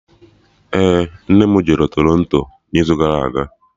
We, nne m jere Toronto n'izu gara aga